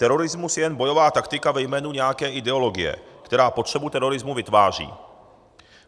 Terorismus je jen bojová taktika ve jménu nějaké ideologie, která potřebu terorismu vytváří.